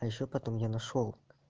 а ещё потом я нашёл